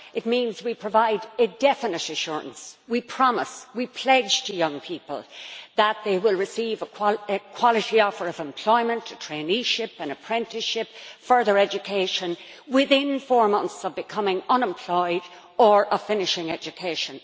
It means we provide a definite assurance, we promise, we pledge to young people that they will receive a quality offer of employment, a traineeship, an apprenticeship, further education within four months of becoming unemployed or of finishing education.